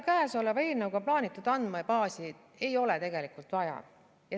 Selle eelnõuga plaanitud andmebaasi ei ole tegelikult vaja.